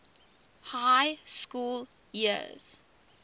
high school years